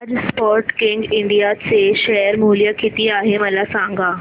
आज Sportking India चे share मूल्य किती आहे मला सांगा